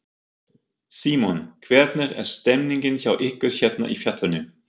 Símon: Hvernig er stemningin hjá ykkur hérna í fjallinu?